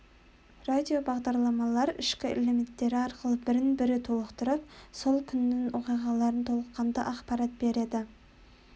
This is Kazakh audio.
радиобағдарламалар ішкі элементтері арқылы бірін-бірі толықтырып сол күннің оқиғаларынан толыққанды ақпарат береді